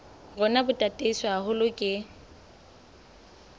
rona bo tataiswe haholo ke